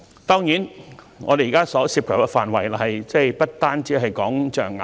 當然，現時這項法案所涉及的範圍不單是象牙。